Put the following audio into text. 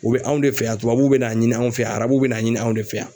U bɛ anw de fɛ yan tubabuw bɛ n'a ɲini anw fɛ yan arabu bɛna ɲini anw de fɛ yan.